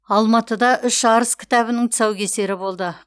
алматыда үш арыс кітабының тұсаукесері болды